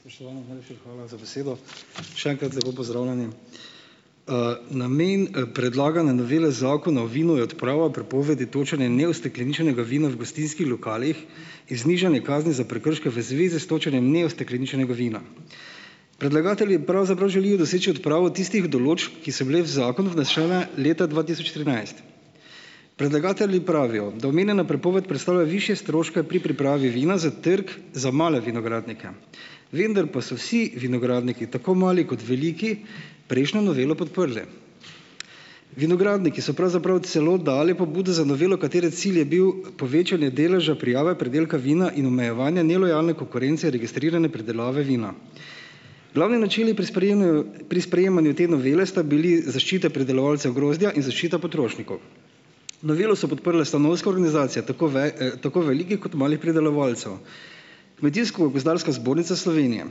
Spoštovani, najlepša hvala za besedo. Še enkrat lepo pozdravljeni. Namen, predlagane novele Zakona o vinu je odprava prepovedi točenja neustekleničenega vina v gostinskih lokalih in znižanje kazni za prekrške v zvezi s točenjem neustekleničenega vina. Predlagatelji pravzaprav želijo doseči odpravo tistih določb, ki so bile v zakonu vnesene leta dva tisoč trinajst. Predlagatelji pravijo, da omenjena prepoved predstavlja višje stroške pri pripravi vina za trg za male vinogradnike, vendar pa so vsi vinogradniki, tako mali kot veliki, prejšnjo novelo podprli. Vinogradniki so pravzaprav celo dali pobudo za novelo, katere cilj je bil povečanje deleža prijave pridelka vina in omejevanja nelojalne konkurence registrirane pridelave vina. Glavni načini pri sprejemaju pri sprejemanju te novele sta bili zaščita predelovalcev grozdja in zaščita potrošnikov. Novelo so podprle stanovske organizacije, tako tako velikih kot malih pridelovalcev, Kmetijsko-gozdarska zbornica Slovenije,